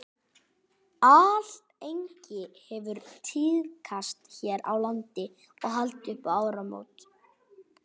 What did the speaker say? alllengi hefur tíðkast hér á landi að halda upp á áramót